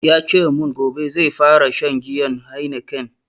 Yace mun gobe zai fara shan giyan heineken